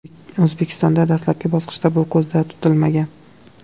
O‘zbekistonda dastlabki bosqichda bu ko‘zda tutilmagan.